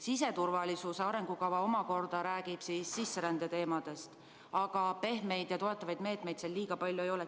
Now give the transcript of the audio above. Siseturvalisuse arengukava omakorda räägib sisserände teemadest, aga pehmeid ja toetavaid meetmeid seal palju ei ole.